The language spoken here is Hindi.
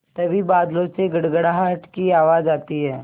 तभी बादलों से गड़गड़ाहट की आवाज़ आती है